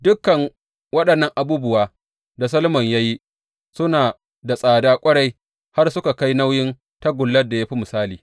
Dukan waɗannan abubuwa da Solomon ya yi suna da tsada ƙwarai har suka kai nauyin tagullar da ya fi misali.